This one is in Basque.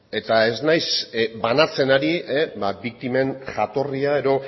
eta ez naiz banatzen ari biktimen jatorria edo